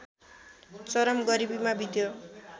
चरम गरीबीमा बित्यो